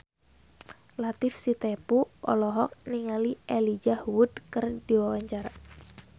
Latief Sitepu olohok ningali Elijah Wood keur diwawancara